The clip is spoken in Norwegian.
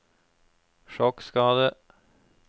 sjokkskadet